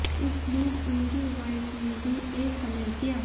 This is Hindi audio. इस बीच उनकी वाइफ ने भी एक कमेंट किया